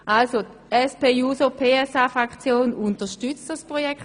Die SP-JUSO-PSA-Fraktion unterstützt das Jahren hier.